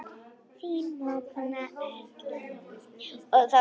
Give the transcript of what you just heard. Þín mágkona Erla Rut.